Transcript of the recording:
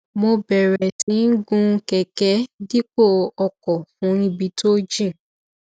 mo bẹrẹ sí í gun kẹkẹ dípò ọkọ fún ibi tó jìn